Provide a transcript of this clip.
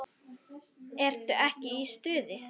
Ertu ekki í stuði?